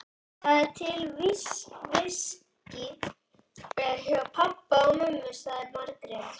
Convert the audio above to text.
Það er til viskí hjá pabba og mömmu, sagði Margrét.